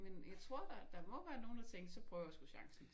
Men jeg tror der der må være nogen der tænker så prøver jeg sgu chancen